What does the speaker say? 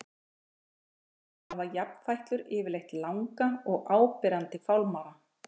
Á höfðinu hafa jafnfætlur yfirleitt langa og áberandi fálmara.